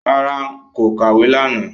No, I did not read last night